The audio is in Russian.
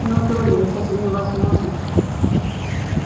но долли это же невозможно